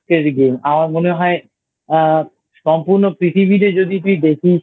এর Game আমার মনে হয় আ সম্পূর্ণ পৃথিবীতে যদি তুই দেখিস